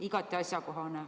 Igati asjakohane.